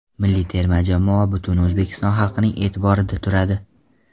Milliy terma jamoa butun O‘zbekiston xalqining e’tiborida turadi.